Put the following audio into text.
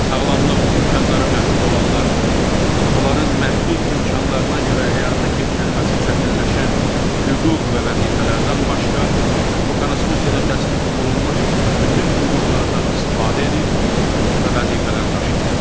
Sağlamlıq imkanları məhdud olanlar, onların məhdud imkanlarına görə həyata keçirilməsi çətinləşən hüquq və vəzifələrdən başqa, bu konstitusiyada təsbit olunmuş bütün hüquqlardan istifadə edir və vəzifələri daşıyırlar.